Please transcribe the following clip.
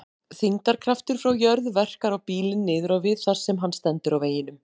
Þyngdarkraftur frá jörð verkar á bílinn niður á við þar sem hann stendur á veginum.